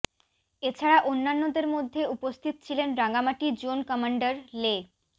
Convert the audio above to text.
এছাড়া অন্যান্যদের মধ্যে উপস্থিত ছিলেন রাঙ্গামাটি জোন কমান্ডার লে